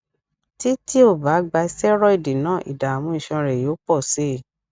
títí o bá gba steroid náà ìdààmú iṣan rẹ yóò pọ sí i